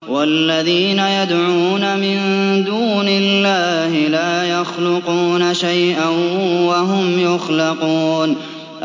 وَالَّذِينَ يَدْعُونَ مِن دُونِ اللَّهِ لَا يَخْلُقُونَ شَيْئًا وَهُمْ يُخْلَقُونَ